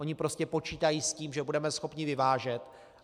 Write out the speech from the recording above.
Ony prostě počítají s tím, že budeme schopni vyvážet.